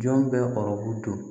Jɔn bɛ baro dɔn